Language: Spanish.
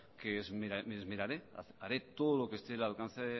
que me esmeraré haré todo lo que esté al alcance